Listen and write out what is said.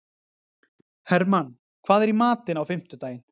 Hermann, hvað er í matinn á fimmtudaginn?